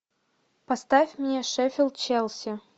поставь мне шеффилд челси